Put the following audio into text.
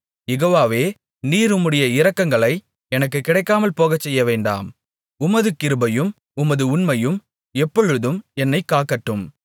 யெகோவாவே நீர் உம்முடைய இரக்கங்களை எனக்குக் கிடைக்காமல் போகச்செய்யவேண்டாம் உமது கிருபையும் உமது உண்மையும் எப்பொழுதும் என்னைக் காக்கட்டும்